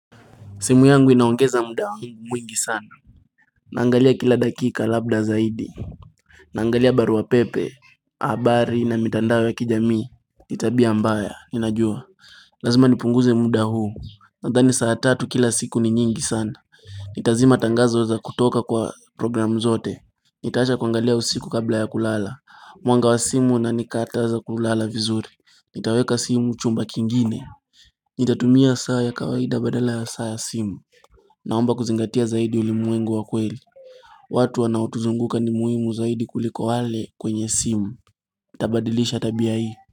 Simu yangu inaongeza muda mwingi sana Naangalia kila dakika labda zaidi Naangalia barua pepe habari na mitandao ya kijamii ni tabia mbaya ninajua Lazima nipunguze muda huu Nadhani saa tatu kila siku ni nyingi sana nitazima tangazo za kutoka kwa programu zote nitaacha kuangalia usiku kabla ya kulala Mwanga wa simu unanikataza kulala vizuri nitaweka simu chumba kingine nitatumia saa ya kawaida badala ya saa ya simu Naomba kuzingatia zaidi ulimwengu wa kweli watu wanao tuzunguka ni muhimu zaidi kuliko wale kwenye simu Tabadilisha tabia hii.